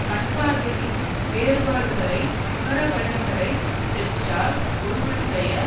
கண்பார்வையின் வேறுபாடுகளை உணரவல்லவரைப் பெற்றால் ஒருவனுடைய